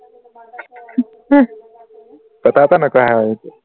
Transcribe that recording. কথা এটা নকয় হে